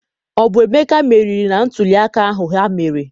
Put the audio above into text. Ọ bụ Emeka meriri na ntụliaka ahụ ha mere.